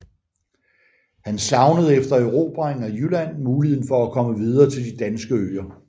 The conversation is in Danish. Han savnede efter erobringen af Jylland muligheden for at komme videre til de danske øer